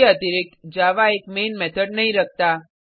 उसके अतिरिक्त जावा एक मैन मेथड नहीं रखता